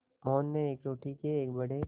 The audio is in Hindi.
मोहन ने रोटी के एक बड़े